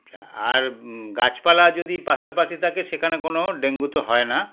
আর গাছপালা যদি পাশাপাশি থাকে সেখানে কোনো dengue -তো হয়না